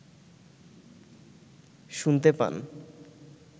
শুনতে পান